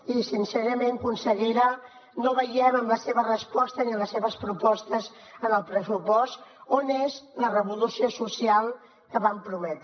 i sincerament consellera no veiem en la seva resposta ni en les seves propostes en el pressupost on és la revolució social que van prometre